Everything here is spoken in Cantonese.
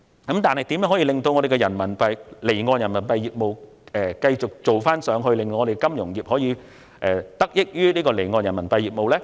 可是，如何令香港離岸人民幣業務繼續向上發展，使本地金融業可以得益於離岸人民幣業務？